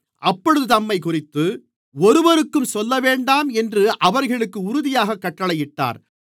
அப்பொழுது தம்மைக்குறித்து ஒருவருக்கும் சொல்லவேண்டாம் என்று அவர்களுக்கு உறுதியாகக் கட்டளையிட்டார்